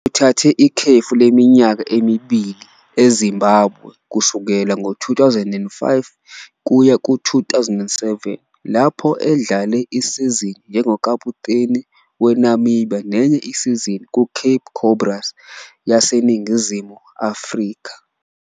Uthathe ikhefu leminyaka emibili eZimbabwe kusukela ngo-2005 kuya ku-2007 lapho edlale isizini njengokaputeni weNamibia nenye isizini kuCape Cobras yaseNingizimu Afrika.